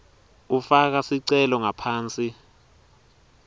ufaka sicelo ngaphansi